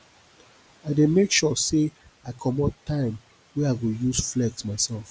i dey make sure sey i comot time wey i go use flex mysef